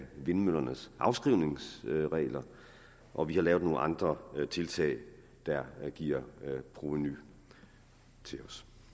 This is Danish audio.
vindmøllernes afskrivningsregler og vi har lavet nogle andre tiltag der giver provenu til